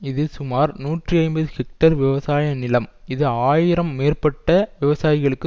இது சுமார் நூற்றி ஐம்பது ஹெக்டேர் விவசாய நிலம் இது ஆயிரம் மேற்பட்ட விவசாயிகளுக்கு